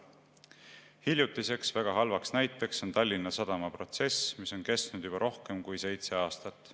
Hiljutine väga halb näide on Tallinna Sadama protsess, mis on kestnud juba rohkem kui seitse aastat.